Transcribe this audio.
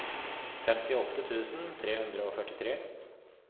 femtiåtte tusen tre hundre og førtitre